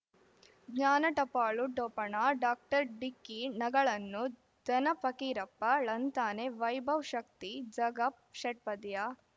ಜ್ಞಾನ ಟಪಾಲು ಠೊಪಣ ಡಾಕ್ಟರ್ ಢಿಕ್ಕಿ ಣಗಳನು ಧನ ಫಕೀರಪ್ಪ ಳಂತಾನೆ ವೈಭವ್ ಶಕ್ತಿ ಝಗಾ ಷಟ್ಪದಿಯ